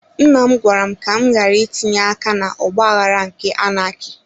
Nnam gwara m ka m ghàrà itinye aka na ọgbaghara nke anaki